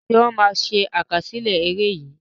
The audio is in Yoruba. Ṣé wọn má ṣe àkásílẹ́ ère yìí?